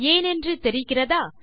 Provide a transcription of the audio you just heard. ஏனென்று தெரிகிறதா